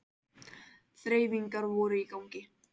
Þreifingar voru í gangi